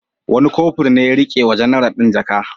Wani Kofur ne ya ke riƙe wa janar ɗin jaka.